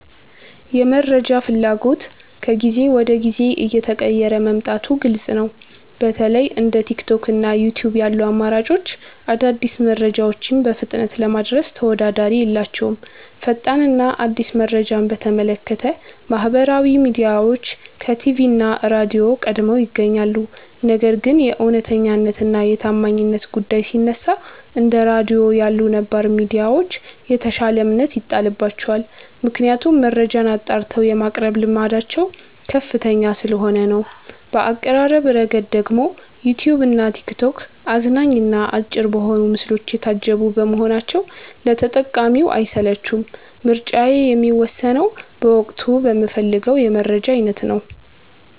የመረጃ ፍላጎት ከጊዜ ወደ ጊዜ እየተቀየረ መምጣቱ ግልጽ ነው። በተለይ እንደ ቲክቶክ እና ዩትዩብ ያሉ አማራጮች አዳዲስ መረጃዎችን በፍጥነት ለማድረስ ተወዳዳሪ የላቸውም። ፈጣን እና አዲስ መረጃን በተመለከተ ማህበራዊ ሚዲያዎች ከቲቪ እና ራድዮ ቀድመው ይገኛሉ። ነገር ግን የእውነተኛነት እና የታማኝነት ጉዳይ ሲነሳ፣ እንደ ራድዮ ያሉ ነባር ሚዲያዎች የተሻለ እምነት ይጣልባቸዋል። ምክንያቱም መረጃን አጣርተው የማቅረብ ልምዳቸው ከፍተኛ ስለሆነ ነው። በአቀራረብ ረገድ ደግሞ ዩትዩብ እና ቲክቶክ አዝናኝ እና አጭር በሆኑ ምስሎች የታጀቡ በመሆናቸው ለተጠቃሚው አይሰለቹም። ምርጫዬ የሚወሰነው በወቅቱ በምፈልገው የመረጃ አይነት ነው።